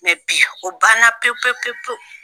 bi o ban na pewu pewu pewu pewu.